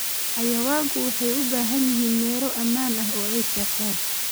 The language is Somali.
Xayawaanku waxay u baahan yihiin meelo ammaan ah oo ay seexdaan.